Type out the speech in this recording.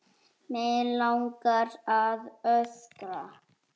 Mig langar að öskra.